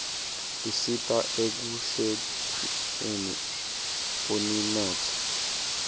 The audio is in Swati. tisita ekukhldeni uninotfo